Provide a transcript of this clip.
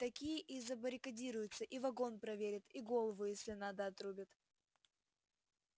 такие и забаррикадируются и вагон проверят и голову если надо отрубят